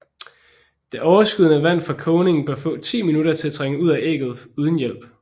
Det overskydende vand fra kogningen bør få 10 minutter til at trænge ud af ægget uden hjælp